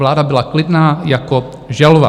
Vláda byla klidná jako želva.